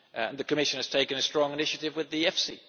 The Commission has taken a strong initiative with the EFSI.